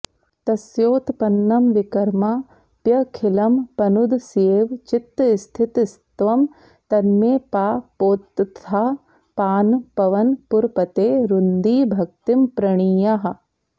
तस्योत्पन्नं विकर्माप्यखिलमपनुदस्येव चित्तस्थितस्त्वं तन्मे पापोत्थतापान्पवनपुरपते रुन्धि भक्तिं प्रणीयाः